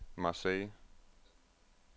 Marseille